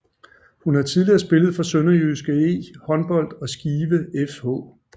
Hun har tidligere spillet for SønderjyskE Håndbold og Skive fH